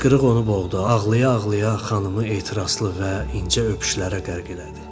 Hıçqırıq onu boğdu, ağlaya-ağlaya xanımı ehtiraslı və incə öpüşlərə qərq elədi.